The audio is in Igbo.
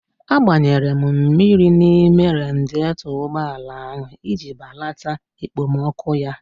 A gbanyere mmiri n'ime radietọ ụgbọala ahụ iji balata ekpomọkụ ya